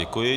Děkuji.